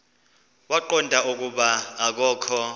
waqonda ukuba akokho